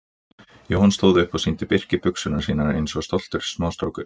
Jóhann stóð upp og sýndi Birki buxurnar sínar eins og stoltur smástrákur.